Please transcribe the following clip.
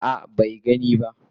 A'a bai gano ba.